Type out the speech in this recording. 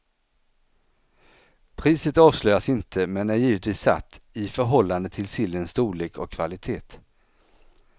Priset avslöjas inte men är givetvis satt i förhållande till sillens storlek och kvalitet.